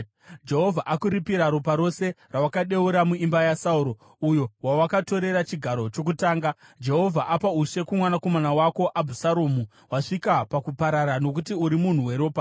Jehovha akuripira ropa rose rawakadeura muimba yaSauro, uyo wawakatorera chigaro chokutonga. Jehovha apa ushe kumwanakomana wako Abhusaromu. Wasvika pakuparara nokuti uri munhu weropa!”